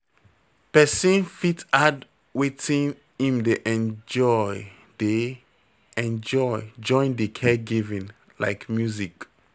Person fit add wetin im dey enjoy dey enjoy join di caregiving like music